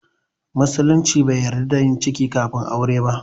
Musulunci bai yarda da yin ciki kafin aure ba